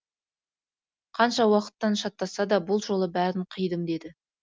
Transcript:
қанша уақыттан шатасса да бұл жолы бәрін қидым деді